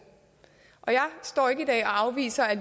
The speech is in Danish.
jeg står ikke i dag og afviser at